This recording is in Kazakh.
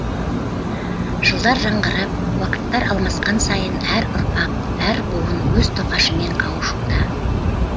жылдар жаңғырып уақыттар алмасқан сайын әр ұрпақ әр буын өз тоқашымен қауышуда